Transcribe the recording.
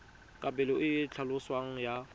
kabelo e e tlhaloswang ya